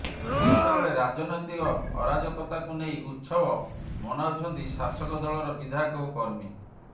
ଯେତେବେଳେ ରାଜନୈତିକ ଅରାଜକତାକୁ ନେଇ ଉତ୍ସବ ମନାଉଛନ୍ତି ଶାସକ ଦଳର ବିଧାୟକ ଓ କର୍ମୀ